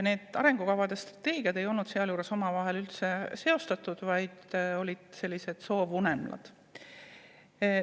Need arengukavad ja strateegiad ei olnud sealjuures omavahel üldse seostatud, vaid oli ka soovunelmaid.